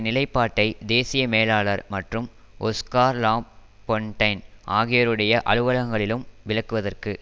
நிலைப்பாட்டை தேசிய மேலாளர் மற்றும் ஒஸ்கார் லாபொன்டைன் ஆகியோருடைய அலுவலகங்களிலும் விளக்குவதற்கு